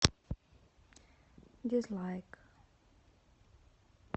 дизлайк